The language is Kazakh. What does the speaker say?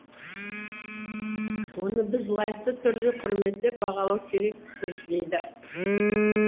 оны біз лайықты түрде құрметтеп бағалау керекпіз дейді